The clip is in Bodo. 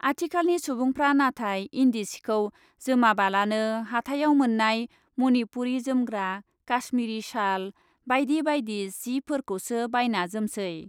आथिखालनि सुबुंफ्रा नाथाय इन्दिसिखौ जोमाबालानो हाथायाव मोननाय मनिपुरि जोमग्रा , काश्मीरि साल बाइदि बाइदि सि फोर खौसो बायना जोमसै ।